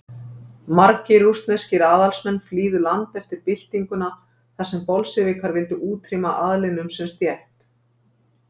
Margir rússneskir aðalsmenn flýðu land eftir byltinguna þar sem Bolsévikar vildu útrýma aðlinum sem stétt.